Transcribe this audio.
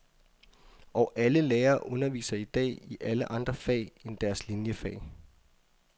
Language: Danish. Og alle lærere underviser i dag i alle andre fag end deres liniefag.